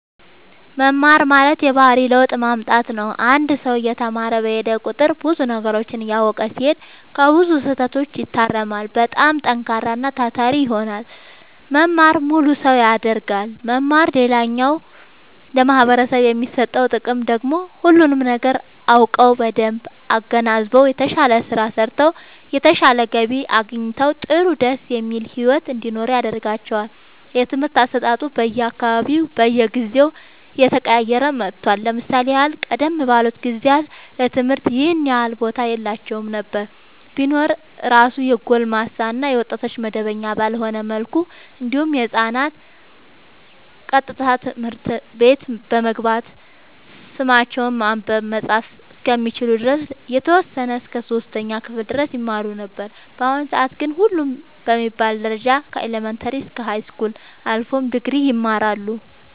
መማር ማለት የባህሪ ለውጥ ማምጣት ነው አንድ ሰው እየተማረ በሄደ ቁጥር ብዙ ነገሮችን እያወቀ ሲሄድ ከብዙ ስህተቶች ይታረማል በጣም ጠንካራና ታታሪ ይሆናል መማር ሙሉ ሰው ያደርጋል መማር ሌላኛው ለማህበረሰቡ የሚሰጠው ጥቅም ደግሞ ሁሉንም ነገር አውቀው በደንብ አገናዝበው የተሻለ ስራ ሰርተው የተሻለ ገቢ አግኝተው ጥሩ ደስ የሚል ሒወት እንዲኖሩ ያደርጋቸዋል። የትምህርት አሰጣጡ በየ አካባቢውና በየጊዜው እየተቀያየረ መጥቷል ለምሳሌ ያህል ቀደም ባሉት ጊዜያት ለትምህርት ይኸን ያህል ቦታ የላቸውም ነበር ቢኖር እራሱ የጎልማሳ እና የወጣቶች መደበኛ ባልሆነ መልኩ እንዲሁም ህፃናት ቀጥታ ትምህርት ቤት በመግባት ስማቸውን ማንበብ መፃፍ እስከሚችሉ ድረስ የተወሰነ እስከ 3ኛ ክፍል ድረስ ይማሩ ነበር በአሁኑ ሰአት ግን ሁሉም በሚባል ደረጃ ከኢለመንታሪ እስከ ሀይስኩል አልፎም ድግሪ ይማራሉ